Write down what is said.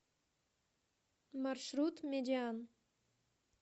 маршрут медиан